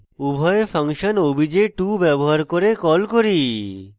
উভয় function obj2 ব্যবহার করে call করি